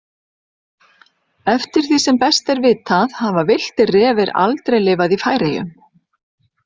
Eftir því sem best er vitað hafa villtir refir aldrei lifað í Færeyjum.